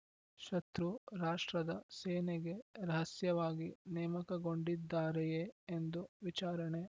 ಶತ್ರು ರಾಷ್ಟ್ರದ ಸೇನೆಗೆ ರಹಸ್ಯವಾಗಿ ನೇಮಕಗೊಂಡಿದ್ದಾರೆಯೇ ಎಂದು ವಿಚಾರಣೆ